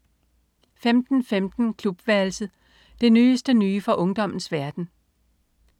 15.15 Klubværelset. Det nyeste nye fra ungdommens verden